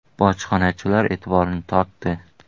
bojxonachilar etiborini tortdi.